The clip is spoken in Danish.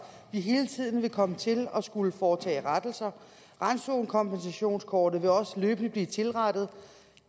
vi hele tiden vil komme til at skulle foretage rettelser randzonekompensationskortet vil også løbende blive tilrettet